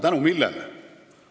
Tänu millele?